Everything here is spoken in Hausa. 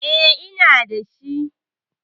Eh, ina da shi.